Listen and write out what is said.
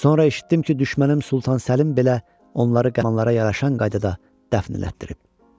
Sonra eşitdim ki, düşmənim Sultan Səlim belə onları qəhramanlara yaraşan qaydada dəfn elətdirib.